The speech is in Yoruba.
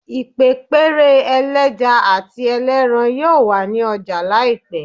Ipepere eleja ati eleran yoo wa ni ọja laipẹ